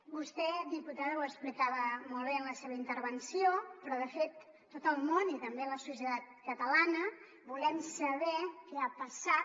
vostè diputada ho explicava molt bé en la seva intervenció però de fet tot el món i també la societat catalana volem saber què ha passat